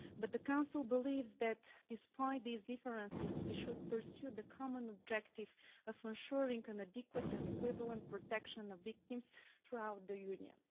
The Council believes that, despite these differences, we should pursue the common objective of ensuring adequate and equivalent protection of victims throughout the Union.